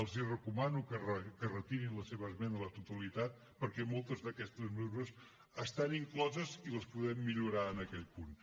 els recomano que retirin la seva esmena a la totalitat perquè moltes d’aquestes mesures estan incloses i les podem millorar en aquell punt